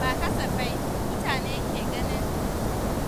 Ba kasafai mutane ke ganin